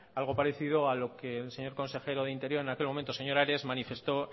algo parecido a lo que el señor consejero de interior en aquel momento señor ares manifestó